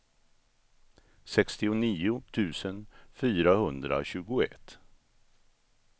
sextionio tusen fyrahundratjugoett